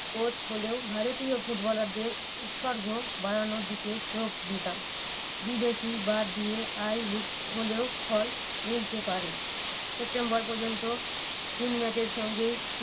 Coach হলেও ভারতীয় ফুটবলারদের উৎসর্গ বাড়ানোর দিকে চোখ দিতাম। বিদেশি বাদ দিয়ে I league হলেও ফল মিলতে পারে। সেপ্টেম্বর পর্যন্ত তিন match এর সঙ্গে